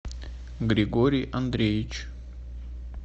григорий андреевич